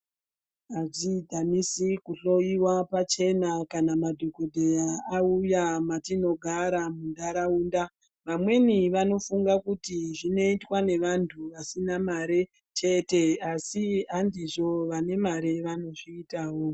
Hadzidhanisi kuhloyiwa pachena kana madhogodheya auya matinogara muntaraunda. Vamweni vanofunga kuti zvinoitwa nevantu vasina mare chete, asi handizvo. Vane mare vanozviitawo.